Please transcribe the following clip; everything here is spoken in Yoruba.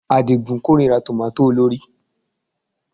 Àdìgún kórìíra tòmátò olórìí